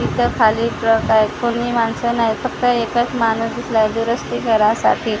इथं खाली प्लॉट आहे कुणी माणसं नाही फक्त एकच माणूस दिसलाय दुरुस्ती करायसाठी--